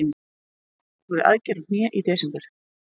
Ég fór í aðgerð á hné í desember.